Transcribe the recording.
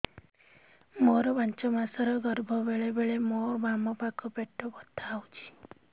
ମୋର ପାଞ୍ଚ ମାସ ର ଗର୍ଭ ବେଳେ ବେଳେ ମୋ ବାମ ପାଖ ପେଟ ବଥା ହଉଛି